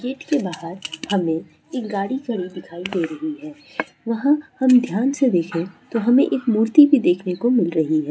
Gate के बाहर हमे एक गाड़ी खड़ी दिखाई दे रही है वहा हम ध्यान से देखे तो हमे एक मूर्ति भी देखने को मिल रही है।